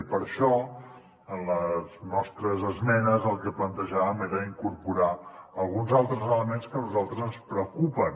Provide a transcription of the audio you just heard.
i per això en les nostres esmenes el que plantejàvem era incorporar alguns altres elements que a nosaltres ens preocupen